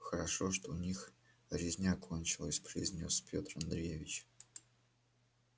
хорошо что у них резня кончилась произнёс пётр андреевич